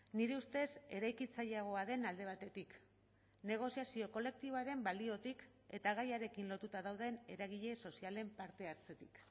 nire ustez eraikitzaileagoa den alde batetik negoziazio kolektiboaren baliotik eta gaiarekin lotuta dauden eragile sozialen parte hartzetik